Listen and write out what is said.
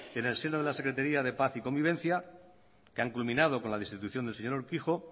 en el seno de la secretaria de paz y convivencia que han culminado con la destitución del señor urkijo